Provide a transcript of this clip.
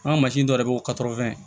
An ka mansin dɔ de bɛ